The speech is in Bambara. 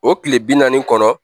O tile bi naani kɔnɔ